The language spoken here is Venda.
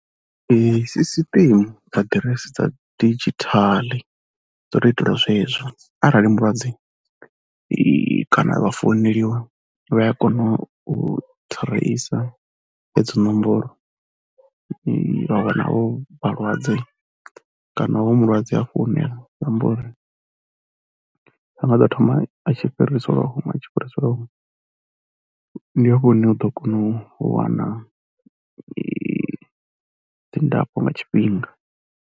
Sisiṱeme, aḓiresi dza didzhithala dzo tou itelwa zwezwo arali mulwadze kana vha founeliwa vha a kona u thireisa edzo nomboro vha wana avho vhalwadze kana hoyu mulwadze afho hune ra amba uri ha nga ḓo thoma a tshi fhiriselwa huṅwe a tshi fhiriselwa huṅwe, ndi afho hune wa ḓo kona u wana dzi ndafho nga tshifhinga.